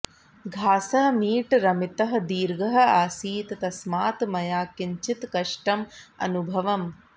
घासः मीटरमितः दीर्घः आसीत् तस्मात् मया किञ्चित् कष्टम् अनुभवम्